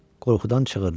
Qorxudan çığırdı.